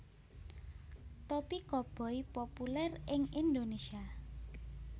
Topi Koboi populèr ing Indonesia